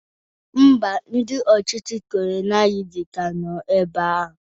Ḿbà, ndị ọchịchị kolonializm ka nọ ebea ahụ